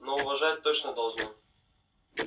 но уважать точно должны